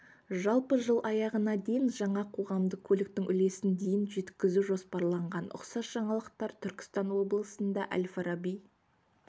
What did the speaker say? жалпы жыл аяғына дейін жаңа қоғамдық көліктің үлесін дейін жеткізу жоспарланған ұқсас жаңалықтар түркістан облысында әл-фараби